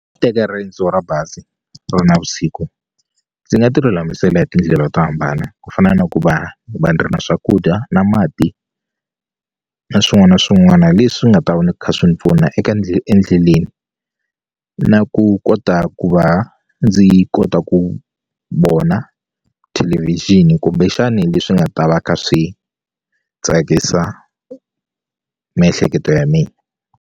Teka riendzo ra bazi ku ri navusiku ndzi nga ti lulamisela hi tindlela to hambana ku fana na ku va va ni ri na swakudya na mati na swin'wana swin'wana leswi nga ta va ni kha swi ni pfuna endleleni na ku kota ku va ndzi kota ku vona thelevixini kumbexani leswi nga ta va kha swi tsakisa miehleketo ya mina.